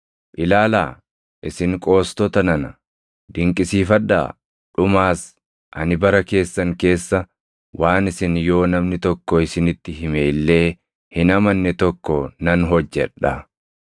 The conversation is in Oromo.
“ ‘Ilaalaa, isin qoostota nana; dinqisiifadhaa; dhumaas; ani bara keessan keessa waan isin yoo namni tokko isinitti hime illee hin amanne tokko nan hojjedha.’ + 13:41 \+xt Anb 1:5\+xt*”